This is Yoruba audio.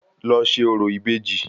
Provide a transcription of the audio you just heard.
Lọ ṣe orò ìbejì